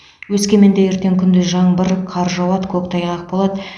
өскеменде ертең күндіз жаңбыр қар жауады көктайғақ болады